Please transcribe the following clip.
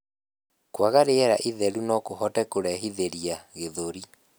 Kwaga rĩera itheru nokuhote kurehithirĩa gĩthũri